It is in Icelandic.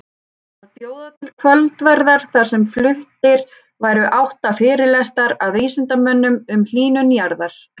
Að bjóða til kvöldverðar þar sem fluttir væru átta fyrirlestrar af vísindamönnum um hlýnun jarðar.